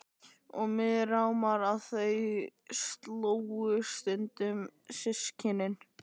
Og mig rámar í að þau slógust stundum systkinin.